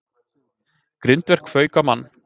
Grindverk fauk á mann